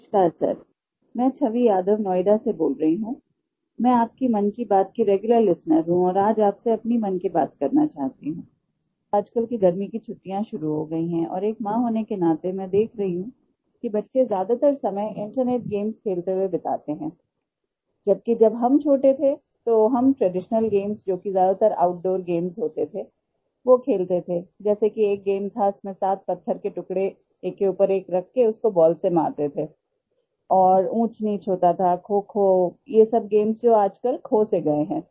नमस्कार सर मैं छवि यादव नोएडा से बोल रही हूँ मैं आपकी मन की बात की रेग्यूलर लिस्टेनर हूँ और आज आपसे अपनी मन की बात करना चाहती हूँ आजकल गर्मी की छुट्टियाँ शुरू हो गयी हैं और एक माँ होने के नाते मैं देख रही हूँ कि बच्चे ज़्यादातर समय इंटरनेट गेम्स खेलते हुए बिताते हैं जब कि जब हम छोटे थे तो हम ट्रेडिशनल गेम्स जो कि ज़्यादातर आउटडूर gamesहोते थे वो खेलते थे जैसा कि एक गेम था जिसमें 7 पत्थर के टुकड़े एक के ऊपर एक रखके उसे बॉल से मारते थे और ऊँचनीच होता था खोखो ये सब gameजो आजकल खो से गए हैं